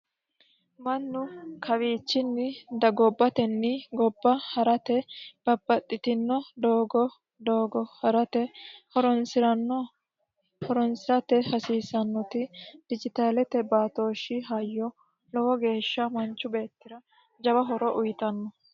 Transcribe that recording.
mannu kawiichinni dagobbotenni gobba ha'rate babbaxxitino doogo doogo ha'rate horonsiranno horonsi'rate hasiisannoti dijitaalete baatooshshi hayyo lowo geeshsha manchu beettira jawa horo uyitanno